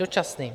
Dočasným.